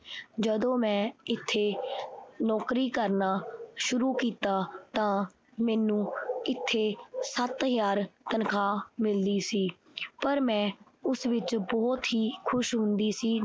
ਜਦੋਂ ਮੈਂ ਇਥੇ ਨੌਕਰੀ ਕਰਨਾ ਸ਼ੁਰੂ ਕੀਤਾ ਤਾਂ ਮੈਨੂੰ ਇਥੇ ਸੱਤ ਹਜ਼ਾਰ ਤਨਖਾਹ ਮਿਲਦੀ ਸੀ ਪਰ ਮੈਂ ਉਸ ਵਿਚ ਬਹੁਤ ਹੀ ਖੁਸ਼ ਹੁੰਦੀ ਸੀ।